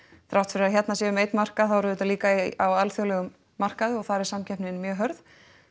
þrátt fyrir að hérna séum einn markað þá erum við líka á alþjóðlegum markaði og þar er samkeppnin mjög hörð